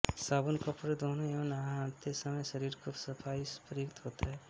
साबुन कपड़े धोने एवं नहाते समय शरीर की सफाई में प्रयुक्त होता है